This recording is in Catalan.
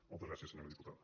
moltes gràcies senyora diputada